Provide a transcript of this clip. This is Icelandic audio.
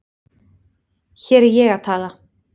Hér er ég að tala